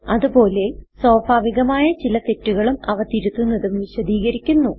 അത് പോലെ സ്വാഭാവികമായ ചില തെറ്റുകളും അവ തിരുത്തുന്നതും വിശദീകരിക്കുന്നു